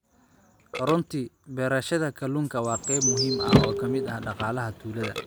Runtii, beerashada kalluunka waa qayb muhiim ah oo ka mid ah dhaqaalaha tuulada.